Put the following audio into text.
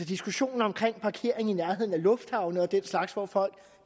diskussionen om parkering i nærheden af lufthavne og den slags hvor folk